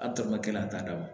A tɔɔrɔ kelen a t'a d'a ma